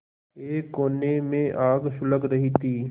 एक कोने में आग सुलग रही थी